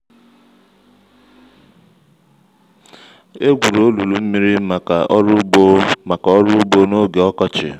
e gwuru olulu mmiri maka ọrụ ugbo maka ọrụ ugbo n'oge ọkọchị